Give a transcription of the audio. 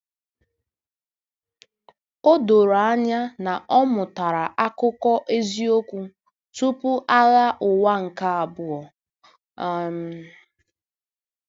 O doro anya na ọ mụtara akụkọ eziokwu tupu Agha Ụwa nke Abụọ. um